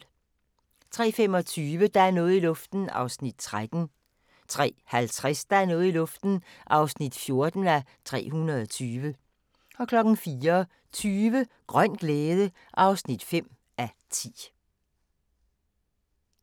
03:25: Der er noget i luften (13:320) 03:50: Der er noget i luften (14:320) 04:20: Grøn glæde (5:10)